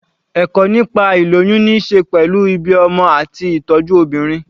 Ẹ̀kọ́ nípa ìlóyún ní ṣe pẹ̀lú ìbí ọmọ àti ìtọ́jú obìnrin.